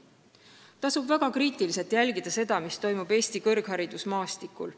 Tasub väga kriitiliselt jälgida, mis toimub Eesti kõrgharidusmaastikul.